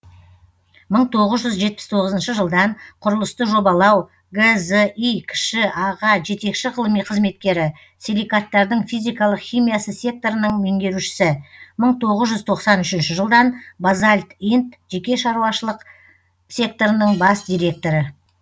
мың тоғыз жүз жетпіс тоғызыншы жылдан құрылысты жобалау гзи кіші аға жетекші ғылыми қызметкері силикаттардың физикалық химиясы секторының меңгерушісі мың тоғыз жүз тоқсан үшінші жылдан базальт инт жеке шаруашылық секторының бас директоры